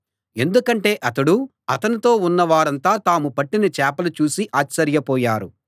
ఎందుకంటే అతడూ అతనితో ఉన్న వారంతా తాము పట్టిన చేపలు చూసి ఆశ్చర్యపోయారు